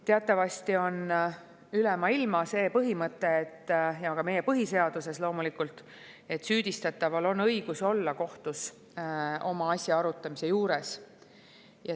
Teatavasti on üle maailma see põhimõte ja ka meie põhiseaduses loomulikult, et süüdistataval on õigus olla kohtus oma asja arutamise juures.